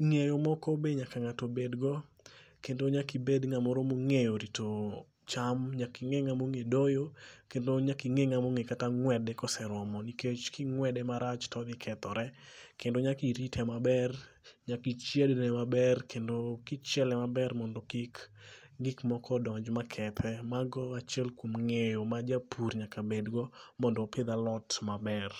Ng'eyo moko be nyaka ng'ato bedgo kendo nyakibed ng'amoro mong'eyo rito cham nyaking'e ng'among'e doyo kendo nyaking'e ng'among'e kata ng'wede koseromo nikech king'wede marach todhikethore kendo nyakirite maber nyakichiedne maber kendo kichiele maber mondo kik gikmoko donj makethe. Mago e achiel kuom ng'eyo ma japur nyaka bedgo mondo opidh alot maber.